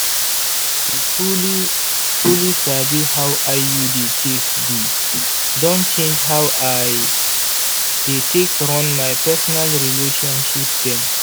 to truly-truly sabi how iud take be don change how i dey take run my personal relationship dem.